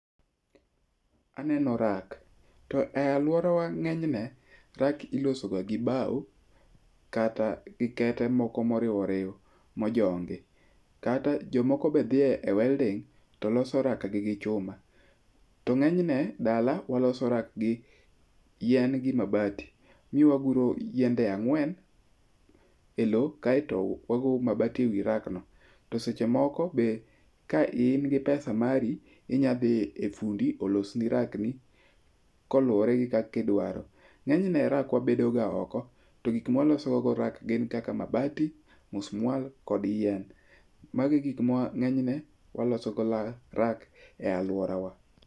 Aneno rak, to e aluorawa nge'nyne rack ilosoga gi bau kata gi kete moko mo oriw oriw mojongi' kata jomoko be thie welding to loso rakgi gi chuma , to nge'nyne dala waloso rak gi yien gi mabati ni waguro yiende ang'wen e lowo kaeto wagoyo mabati e wi rakno to sechemoko be ka in gi pesa mari inyathi e fundi olosni rakni kolure gi kakidwaro, nge'nyne rak wabedogo ga oko, to gik mwalosogoga rak gin kaka mabati, musmwual kod yien , magi gik ma nye'ne wasologoga rak e aluorawa